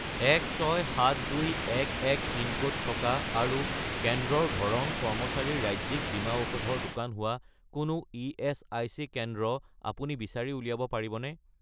167211 pincode থকা আৰু কেন্দ্ৰৰ ধৰণ কৰ্মচাৰীৰ ৰাজ্যিক বীমা ঔষধৰ দোকান হোৱা কোনো ইএচআইচি কেন্দ্ৰ আপুনি বিচাৰি উলিয়াব পাৰিবনে?